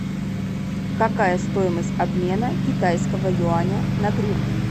какая стоимость обмена китайского юаня на гривны